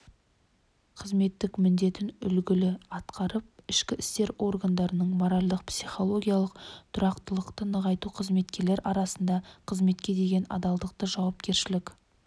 қызметтік міндетін үлгілі атқарып ішкі істер органдарында моральдық-психологиялық тұрақтылықты нығайту қызметкерлер арасында қызметке деген адалдықты жауапкершілік